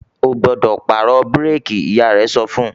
"Ó gbọ́dọ̀ pàrọ̀ búrékì!", Ìyá rẹ̀ sọ fún